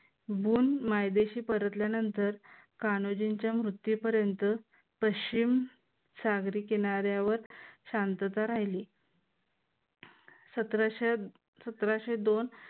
Bone मायदेशी परतल्यानंतर कान्होजींच्या मृत्यूपर्यंत पश्चिम सागरी किनाऱ्यावर शांतता राहिली. सतराशे सतराशे दोन